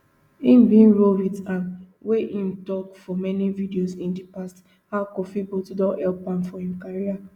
im bin roll wit am wia im tok for many videos in di past how kofi boat don help am for im career